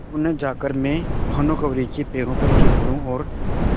क्यों न जाकर मैं भानुकुँवरि के पैरों पर गिर पड़ूँ और